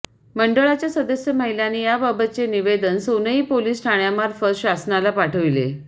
मंडळाच्या सदस्य महिलांनी याबाबतचे निवेदन सोनई पोलीस ठाण्यामार्फत शासनाला पाठविले